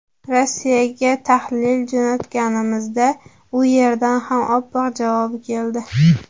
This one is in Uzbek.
Rossiyaga tahlil jo‘natganimizda, u yerdan ham oqqon javobi keldi.